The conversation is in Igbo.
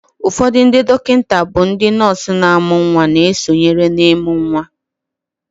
ufodu ndi dokinta bu ndi nurse na amu nwa na esonyere na imu nwa